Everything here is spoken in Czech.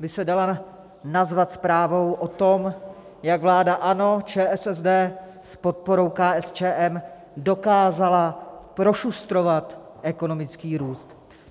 by se dala nazvat zprávou o tom, jak vláda ANO, ČSSD s podporou KSČM dokázala prošustrovat ekonomický růst.